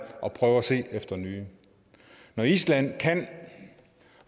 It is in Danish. og prøve at se efter nye når island kan